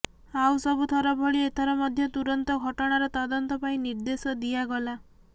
ଆଉ ସବୁ ଥର ଭଳି ଏଥର ମଧ୍ୟ ତୁରନ୍ତ ଘଟଣାର ତଦନ୍ତ ପାଇଁ ନିର୍ଦେଶ ଦିଆଗଲା